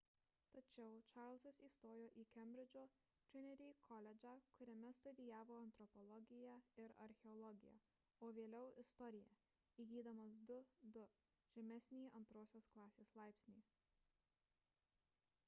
tačiau čarlzas įstojo į kembridžo trinity koledžą kuriame studijavo antropologiją ir archeologiją o vėliau – istoriją įgydamas 2:2 žemesnįjį antrosios klasės laipsnį